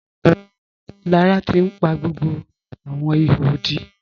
Lára ti n pa gbogbo awọn ìhò òdí.